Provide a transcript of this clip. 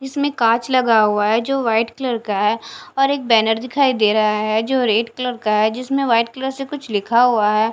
इसमें कांच लगा हुआ है जो वाइट कलर का है और एक बैनर दिखाई दे रहा है जो रेड कलर का है जिसमें व्हाइट कलर से कुछ लिखा हुआ है।